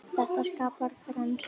Þetta skapar þenslu.